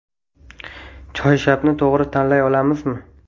Choyshabni to‘g‘ri tanlay olamizmi?